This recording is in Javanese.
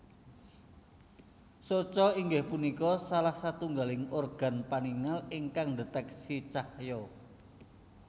Soca inggih punika salah satunggaling organ paningal ingkang ndeteksi cahya